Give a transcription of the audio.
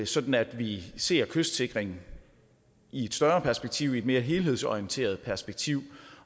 sådan at vi ser kystsikring i et større perspektiv i et mere helhedsorienteret perspektiv